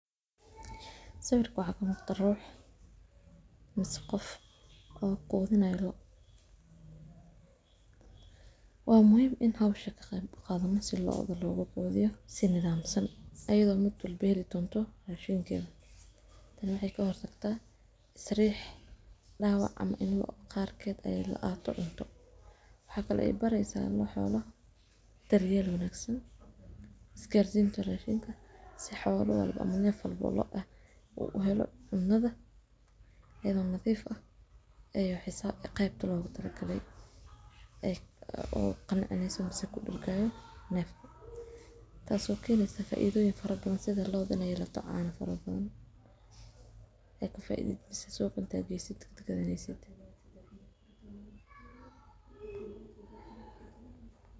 Sawirkani waxa kamuqda ruux mise qof oo quudhinayo loo. Waa muhiim in hiwsha kaqey qaadhano si looguqudhiyo si nidhaamsan ayadho mid walbo heli doonto raashimkedha. Tan waxey kahortagtaa sariix dawac ama loo qarkeed ey laqadhato cunto. waxaa kale eey bareysa loo xoolohu daryeel wanaagsan isgaarsinta raashina si xoola walbo ama neef walbo oo loo ah uu uhelo cunadha iyadha oo nadhiif ah ayu xisaab qeybta loogutalagale oo qancineysa mise kudargayo neefka. Taas oo kenesa faaidhoyin fara badan fara badan sidha loo iney keento caano fara badha ey kufaidheysid suqa intaad geysid gadhaneysid.